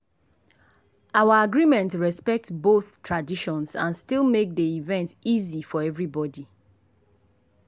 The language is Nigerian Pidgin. our agreement respect both traditions and still make dey event easy for everybody.